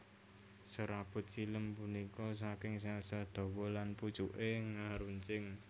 Serabut xilem punika saking sel sel dhawa lan pucuke ngeruncing